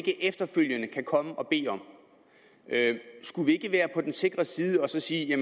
efterfølgende kan komme og bede om skulle vi ikke være på den sikre side og sige at